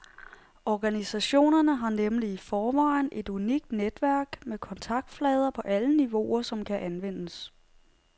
Organisationerne har nemlig i forvejen et unikt netværk med kontaktflader på alle niveauer, som kan anvendes.